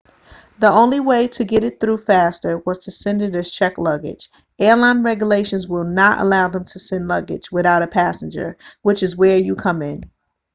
the only way to get it through faster was to send it as checked luggage airline regulations will not allow them to send luggage without a passenger which is where you come in